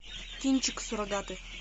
кинчик суррогаты